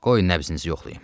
Qoy nəbzinizi yoxlayım.